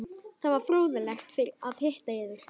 Það var fróðlegt að hitta yður.